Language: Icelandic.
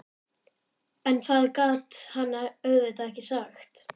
En það gat hann auðvitað ekki sagt.